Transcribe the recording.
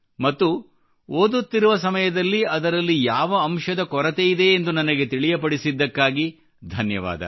ಮತ್ತು ಓದುತ್ತಿರುವ ಸಮಯದಲ್ಲಿ ಅದರಲ್ಲಿ ಯಾವ ಅಂಶದ ಕೊರತೆಯಿದೆ ಎಂದು ನನಗೆ ತಿಳಿಯಪಡಿಸಿದ್ದಕ್ಕಾಗಿ ಧನ್ಯವಾದ